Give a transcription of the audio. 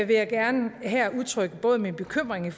vil jeg gerne her udtrykke både min bekymring